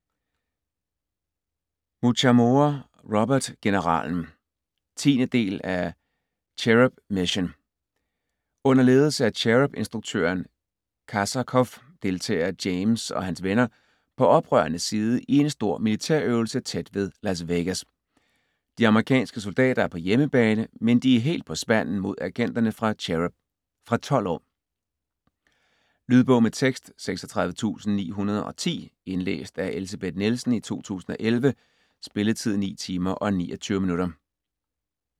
Muchamore, Robert: Generalen 10. del af Cherub Mission. Under ledelse af CHERUB-instruktøren Kazakov deltager James og hans venner på oprørernes side i en stor millitærøvelse tæt ved Las Vegas. De amerikanske soldater er på hjemmebane, men de er helt på spanden mod agenterne fra CHERUB. Fra 12 år. Lydbog med tekst 36910 Indlæst af Elsebeth Nielsen, 2011. Spilletid: 9 timer, 29 minutter.